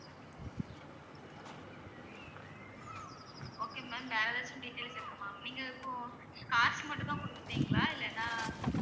okay ma'am வேற ஏதாச்சும் details இருக்கும் ma'am நீங்க இப்போ cars மட்டும் தான் குடுப்பீங்களா இல்லன்னா